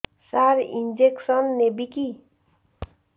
ସାର injection ନେବିକି